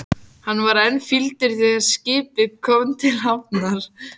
Hann var enn fýldur þegar skipið kom til hafnar.